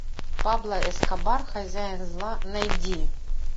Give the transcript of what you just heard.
пабло эскобар хозяин зла найди